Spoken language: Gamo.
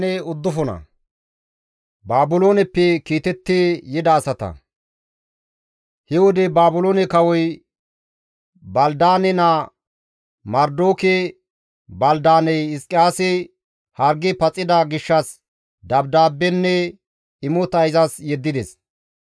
He wode Baabiloone kawoy Balidaane naa, Marodoke-Baldaaney Hizqiyaasi hargi paxida gishshas dabdaabbenne imota izas yeddides.